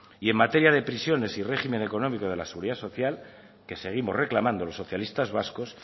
y en materia de prisiones y régimen económico de la seguridad social que seguimos reclamando los socialistas vascos